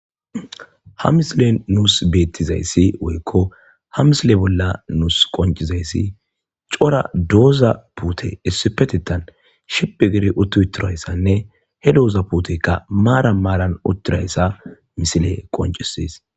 Haa missilenni nusi betizayissi woyikko haa missile bolla nusi qoniccizayassi cora doza puteyi issipetetan shiphphi gidi utti uttidayissanne hee doza puteyikka maranni maranni uttidayissa missileyi qonccises.